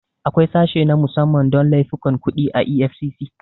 Akwai sashe na musamman don laifukan kuɗi a EFCC.